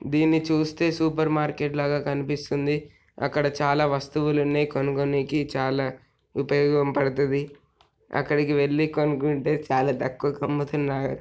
దీన్ని చూస్తే super market లాగా కనిపిస్తుంది అక్కడ చాలా వస్తువులు ఉన్నాయి కొనుక్కోనికి చాలా ఉపయోగం పడతది అక్కడికి వెళ్లి కొనుకుంటే చాలా తక్కువకు అమ్ముతున్నా--